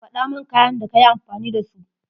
Faɗaman kayan da kayi amfani da su.